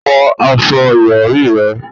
Fọ aṣọ ìrọ̀rí rẹ̀!